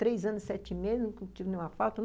Três anos e sete meses eu não tive nenhuma falta.